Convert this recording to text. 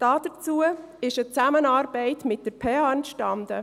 Dazu ist eine Zusammenarbeit mit der Pädagogischen Hochschule (PH) entstanden.